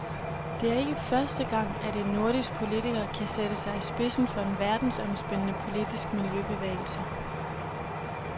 Det er ikke første gang, at en nordisk politiker kan sætte sig i spidsen for en verdensomspændende politisk miljøbevægelse.